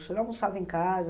O senhor almoçava em casa?